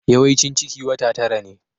Yawaicin ciki wata tara ne.